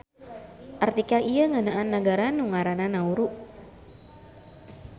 Artikel ieu ngeunaan nagara nu ngaranna Nauru.